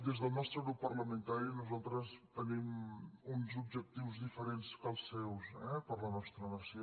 des del nostre grup parlamentari nosaltres tenim uns objectius diferents que els seus per a la nostra nació